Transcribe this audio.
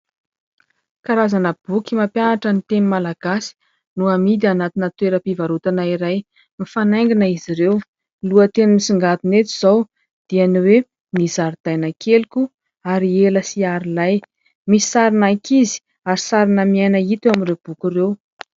Karazana boky mampianatra ny teny malagasy no hamidy hanatina toeram-pivarotana iray, mifanaingina izy ireo. Lohan-teny misingadina eto izao dia ny hoe ny zaridaina keliko Ariela sy Arilay. Misy sarin'ankizy ary sarina miaina hita amin'ireo boky ireo.